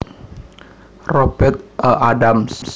Robert A Adams